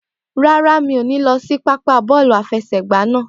Rárá, mi ò ní lọ sí pápá bọ́ọ̀lù àfẹsẹ̀gbá naa.